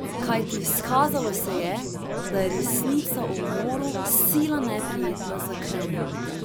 Kajti izkazalo se je, da je resnica o umoru sila neprijetna za Kremelj.